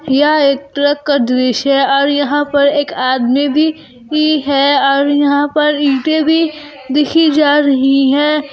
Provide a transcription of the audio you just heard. यह एक ट्रक का दृश्य और यहां पर एक आदमी भी भी है और यहां पर ईंटें भी देखी जा रही हैं।